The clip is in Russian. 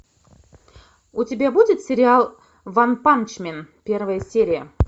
у тебя будет сериал ванпанчмен первая серия